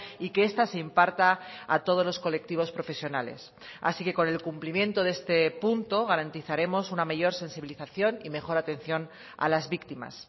y que esta se imparta a todos los colectivos profesionales así que con el cumplimiento de este punto garantizaremos una mayor sensibilización y mejor atención a las víctimas